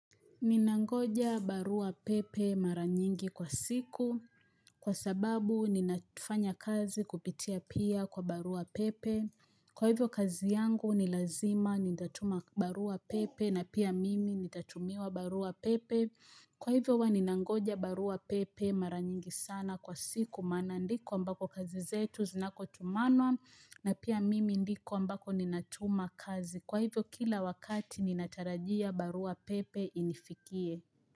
Ninangoja barua pepe mara nyingi kwa siku. Kwa sababu ninatufanya kazi kupitia pia kwa barua pepe. Kwa hivyo kazi yangu nilazima nitatuma barua pepe na pia mimi nitatumiwa barua pepe. Kwa hivyo huwa ninangoja barua pepe maranyingi sana kwa siku maana ndiko ambako kazi zetu zinako tumanwa na pia mimi ndiko ambako ninatuma kazi. Kwa hivyo kila wakati ninatarajia barua pepe inifikie.